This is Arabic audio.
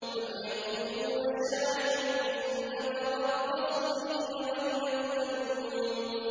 أَمْ يَقُولُونَ شَاعِرٌ نَّتَرَبَّصُ بِهِ رَيْبَ الْمَنُونِ